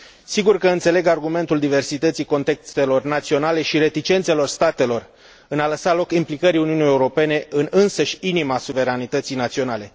Sigur că înțeleg argumentul diversității contextelornaționale și reticențelor statelor în a lăsa loc implicării Uniunii Europene în însăși inima suveranității naționale.